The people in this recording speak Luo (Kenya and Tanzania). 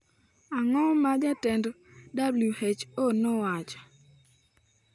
Ang’o ma Jatend WHO nowacho?